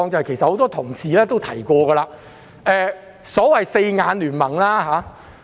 此外，很多同事亦提及所謂的"四眼聯盟"。